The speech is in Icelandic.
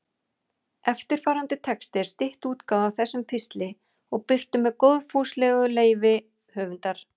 Eftirfarandi texti er stytt útgáfa af þessum pistli og birtur með góðfúslegu leyfi höfundar.